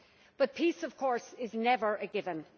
But peace, of course, is never a given.